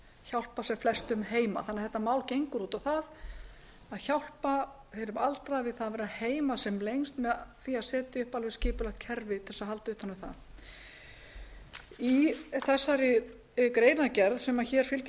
hjálpa sem flestum heima þetta mál gengur út á það að hjálpa hinum aldraða að vera heima sem lengst með því að setja upp alveg skipulagt kerfi til að halda utan um það í þessari greinargerð sem fylgir